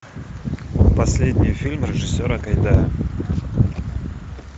последний фильм режиссера гайдая